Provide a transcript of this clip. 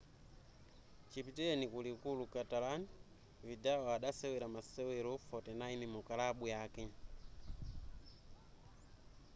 chipitileni ku likulu catalan vidal adasewera masewero 49 mukalabu yake